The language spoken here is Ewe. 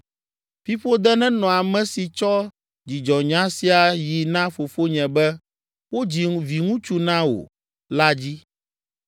Fiƒode nenɔ ame si tsɔ dzidzɔnya sia yi na fofonye be, “Wodzi viŋutsu na wò” la dzi!